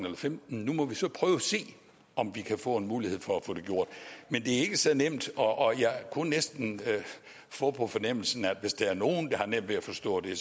og femten nu må vi så prøve at se om vi kan få en mulighed for at få det gjort men det er ikke så nemt og jeg kunne næsten få på fornemmelsen at hvis der er nogle der har nemt ved at forstå det